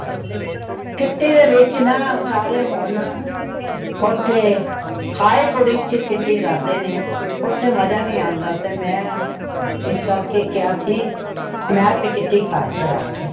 kitty ਦੇ ਵਿੱਚ ਨਾ ਸਾਰੇ ਹੋਣ , ਉੱਥੇ hey pudding ਵਿੱਚ kitty ਕਰਦੇ ਨੇ ਓਥੇ ਮੰਜਾ ਨਹੀਂ ਆਂਦਾ ਤੇ ਮੈਂ , ਇਸ ਕਰਕੇ ਕਿਆ ਸੀ , ਮੈ ਤੇ kitty ਘਰ ਕਰਾਂਗੀ